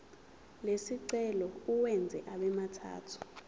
lesicelo uwenze abemathathu